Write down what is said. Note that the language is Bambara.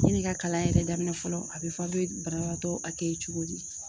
Yan'i ka kalan yɛrɛ daminɛ fɔlɔ a bi fɔ a' be banabaatɔ cogo di.